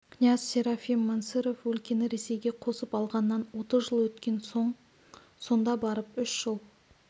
князь серафим мансырев өлкені ресейге қосып алғаннан отыз жыл өткен соң сонда барып үш жыл